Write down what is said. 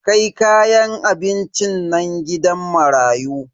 Kai kayan abincin nan gidan marayu.